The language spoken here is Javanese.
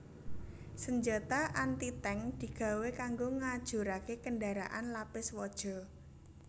Sanjata anti tank digawé kanggo ngajuraké kendharaan lapis waja